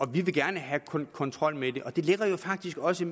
vi vil gerne have kontrol med det og det ligger jo faktisk også